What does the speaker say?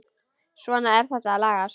Svona, þetta lagast